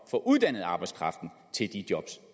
få uddannet arbejdskraften til de job